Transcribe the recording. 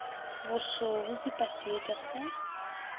boso bo pipa seetša sa